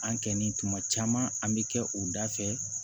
An kɛni tuma caman an bɛ kɛ u da fɛ